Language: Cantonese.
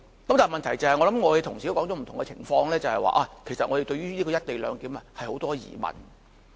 然而，我想同事也指出了不同的情況，問題是我們對於"一地兩檢"有很多疑問。